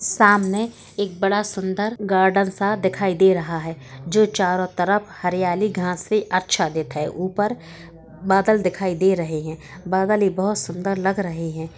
सामने एक बड़ा सुंदर सा गार्डन सा दिखाई दे रहा हैं जो चारो तरफ हरयाली घास से अच्छा ऊपर बादल दिखाई दे रहे हैं बादले बहोत सुंदर लग रहे हैं।